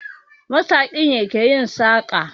Masaƙi ne ke yin saƙa